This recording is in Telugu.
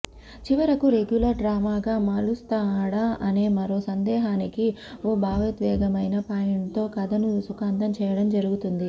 చివరకు రెగ్యులర్ డ్రామాగా మలుస్తాడా అనే మరో సందేహానికి ఓ భావోద్వేగమైన పాయింట్తో కథను సుఖాంతం చేయడం జరుగుతుంది